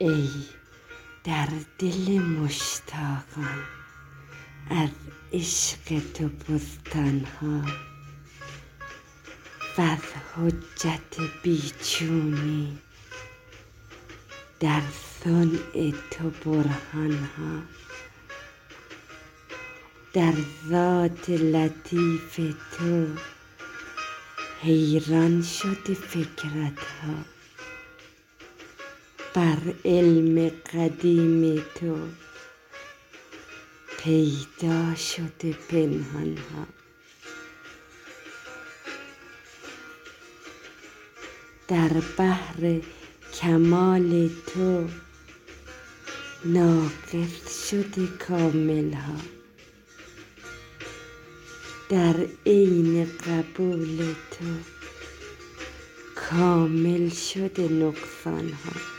ای در دل مشتاقان از عشق تو بستان ها وز حجت بی چونی در صنع تو برهان ها در ذات لطیف تو حیران شده فکرت ها بر علم قدیم تو پیدا شده پنهان ها در بحر کمال تو ناقص شده کامل ها در عین قبول تو کامل شده نقصان ها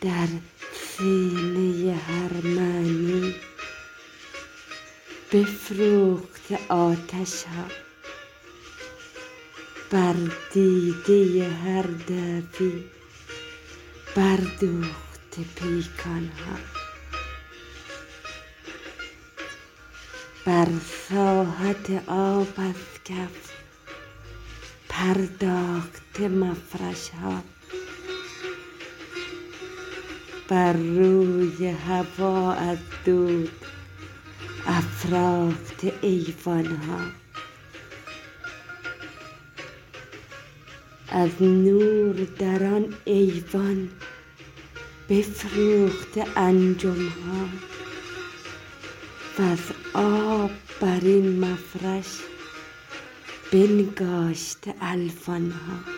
در سینه هر معنی بفروخته آتش ها بر دیده هر دعوی بر دوخته پیکان ها بر ساحت آب از کف پرداخته مفرش ها بر روی هوا از دود افراخته ایوان ها از نور در آن ایوان بفروخته انجم ها وز آب برین مفرش بنگاشته الوان ها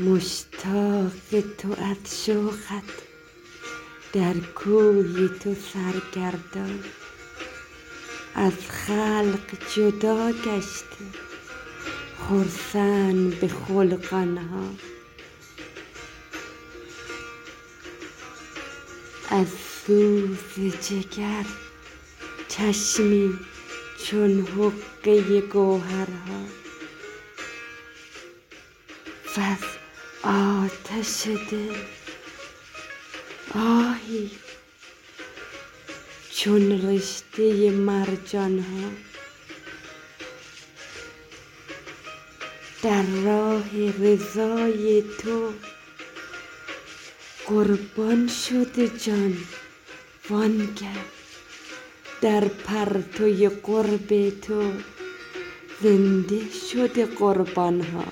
مشتاق تو از شوقت در کوی تو سرگردان از خلق جدا گشته خرسند به خلقان ها از سوز جگر چشمی چون حقه گوهرها وز آتش دل آهی چون رشته مرجان ها در راه رضای تو قربان شده جان و آن گه در پرده قرب تو زنده شده قربان ها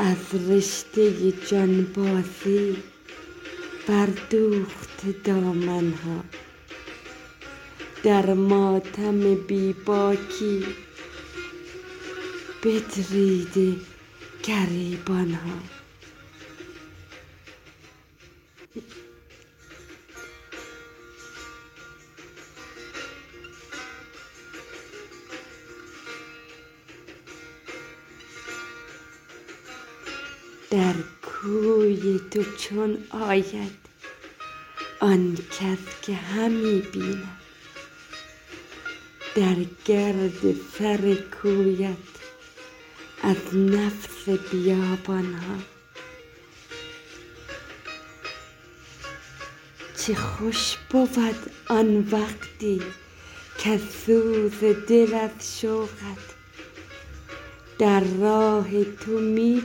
از رشته جانبازی بر دوخته دامن ها در ماتم بی باکی بدریده گریبان ها در کوی تو چون آید آنکس که همی بیند در گرد سر کویت از نفس بیابان ها چه خوش بود آن وقتی کز سوز دل از شوقت در راه تو می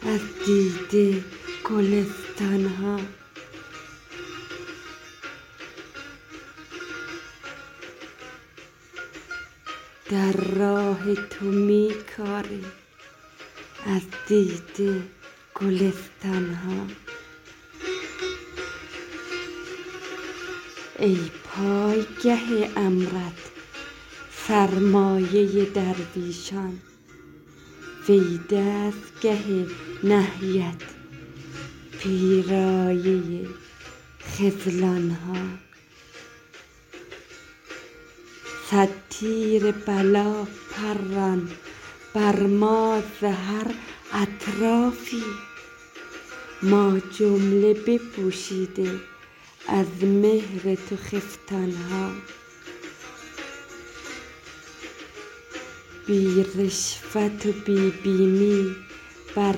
کاریم از دیده گلستان ها ای پایگه امرت سرمایه درویشان وی دستگه نهیت پیرایه خذلان ها صد تیر بلا پران بر ما ز هر اطرافی ما جمله بپوشیده از مهر تو خفتان ها بی رشوت و بی بیمی بر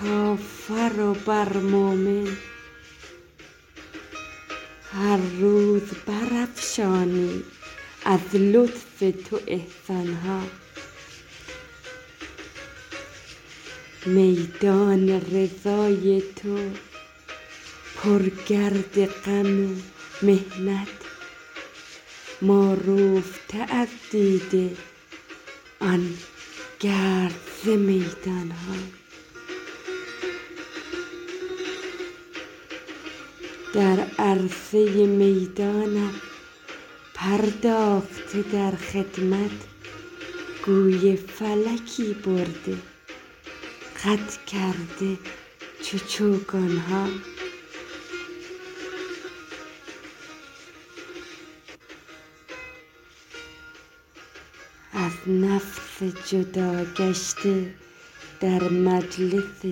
کافر و بر مومن هر روز برافشانی از لطف تو احسان ها میدان رضای تو پر گرد غم و محنت ما روفته از دیده آن گرد ز میدان ها در عرصه میدانت پرداخته در خدمت گوی فلکی برده قد کرده چو چوگان ها از نفس جدا گشته در مجلس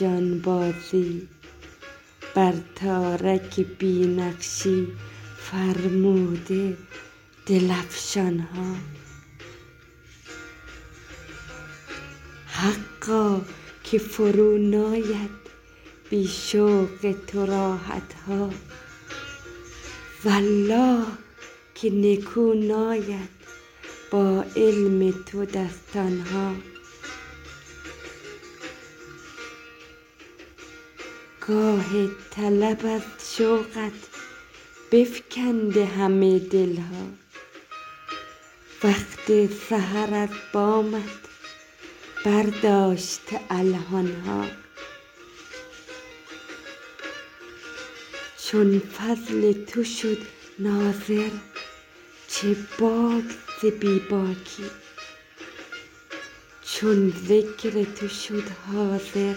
جانبازی بر تارک بی نقشی فرموده دل افشان ها حقا که فرو ناید بی شوق تو راحت ها والله که نکو ناید با علم تو دستان ها گاه طلب از شوقت بفگنده همه دل ها وقت سحر از بامت برداشته الحان ها چون فضل تو شد ناظر چه باک ز بی باکی چون ذکر تو شد حاضر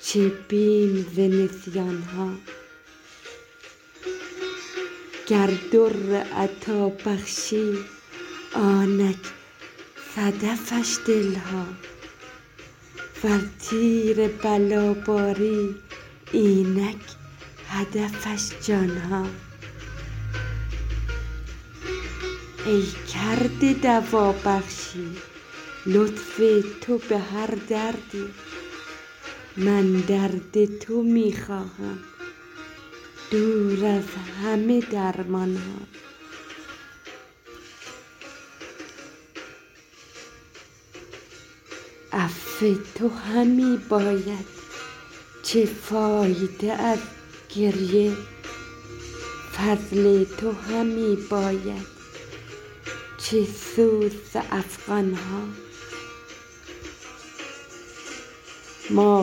چه بیم ز نسیان ها گر در عطا بخشی آنک صدفش دل ها ور تیر بلا باری اینک هدفش جان ها ای کرده دوا بخشی لطف تو به هر دردی من درد تو می خواهم دور از همه درمان ها عفو تو همی باید چه فایده از گریه فضل تو همی باید چه سود ز افغان ها ما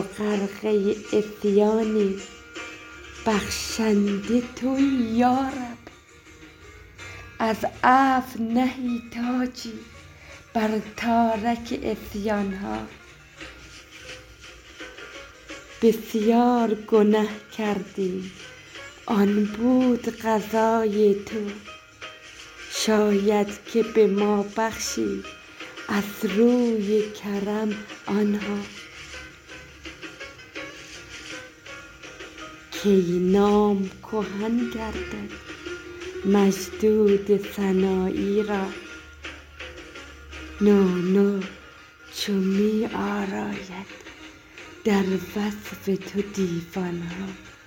غرفه عصیانیم بخشنده تویی یارب از عفو نهی تاجی بر تارک عصیان ها بسیار گنه کردیم آن بود قضای تو شاید که به ما بخشی از روی کرم آن ها کی نام کهن گردد مجدود سنایی را نو نو چو می آراید در وصف تو دیوان ها